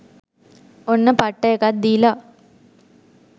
ඔන්න පට්ට එකක් දීලා .